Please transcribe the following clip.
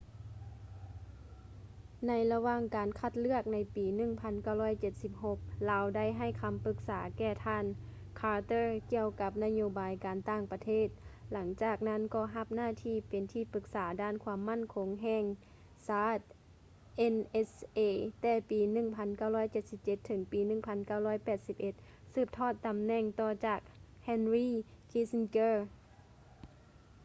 ໃນລະຫວ່າງການຄັດເລືອກໃນປີ 1976 ລາວໄດ້ໃຫ້ຄຳປຶກສາແກ່ທ່ານ carter ກ່ຽວກັບນະໂຍບາຍການຕ່າງປະເທດ ຫຼັງຈາກນັ້ນກໍຮັບໜ້າທີ່ເປັນທີ່ປຶກສາດ້ານຄວາມໝັ້ນຄົງແຫ່ງຊາດ nsa ແຕ່ປີ 1977 ເຖິງປີ 1981 ສືບທອດຕຳແໜ່ງຕໍ່ຈາກ henry kissinger